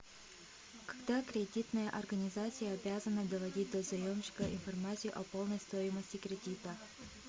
когда кредитная организация обязана доводить до заемщика информацию о полной стоимости кредита